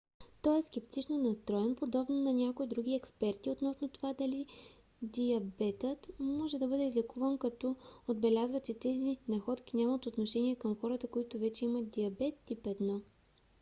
той е скептично настроен подобно на някои други експерти относно това дали диабетът може да бъде излекуван като отбеляза че тези находки нямат отношение към хората които вече имат диабет тип 1